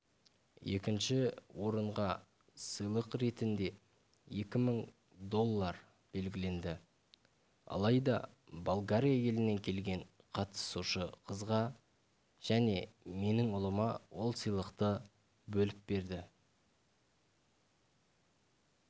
екінші орынға сыйлық ретінде екі мың доллар белгіленді алайда болгария елінен келген қатысушы қызға және менің ұлыма ол сыйлықты бөліп берді